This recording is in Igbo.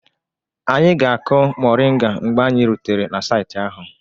Anyị ga-akụ moringa mgbe anyị rutere saịtị ahụ